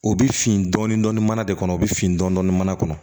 O bɛ fin dɔɔnin dɔɔnin mana de kɔnɔ o bɛ fin dɔɔnin mana kɔnɔ